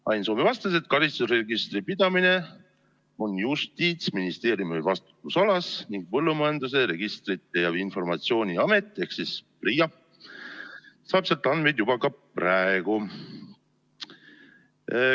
Ain Soome vastas, et karistusregistri pidamine on Justiitsministeeriumi vastutusalas ning Põllumajanduse Registrite ja Informatsiooni Amet ehk PRIA saab sealt andmeid juba ka praegu.